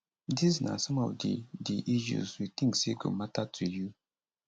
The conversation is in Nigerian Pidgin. dis na some of di di issues we think say go mata to you